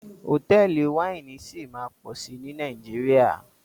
Hotẹẹli Wáìnì sí má pọ sí ní Nàìjíríà.